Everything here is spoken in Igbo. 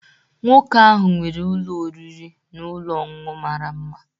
Nwoke ahụ nwere ụlọ oriri na ọṅụṅụ mara mma.